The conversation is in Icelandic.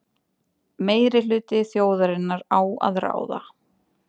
Meirihluti þjóðarinnar á að ráða.